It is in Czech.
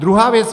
Druhá věc.